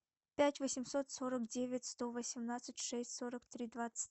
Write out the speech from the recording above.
пять восемьсот сорок девять сто восемнадцать шесть сорок три двадцать